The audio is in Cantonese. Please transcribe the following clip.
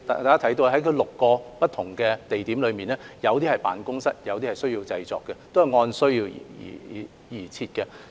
港台的6個不同的營運地點，有些設有辦公室，有些設有製作設施，這都是按需要而設。